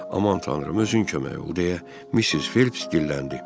Aman tanrım, özün kömək ol, deyə Missis Felps dilləndi.